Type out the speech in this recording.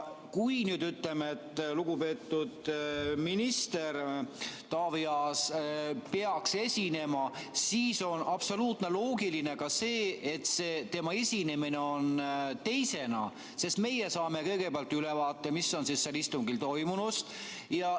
Kui lugupeetud minister Taavi Aas peaks täna esinema, siis on absoluutselt loogiline, et tema esineb teisena, sest meie saame kõigepealt ülevaate istungil toimunust ja ...